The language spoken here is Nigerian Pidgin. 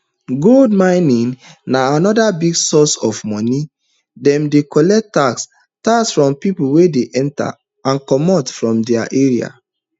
gold mines na anoda big source of money dem dey collect tax tax from pipo wey dey enta and comot from dia area